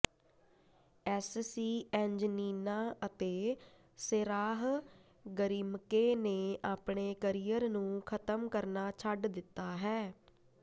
ਐਸਸੀਐਂਜਨੀਨਾ ਅਤੇ Sarah Grimke ਨੇ ਆਪਣੇ ਕਰੀਅਰ ਨੂੰ ਖਤਮ ਕਰਨਾ ਛੱਡ ਦਿੱਤਾ ਹੈ